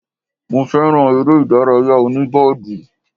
Mo fẹ́ràn eré ìdárayá òní bọ́ọ̀dù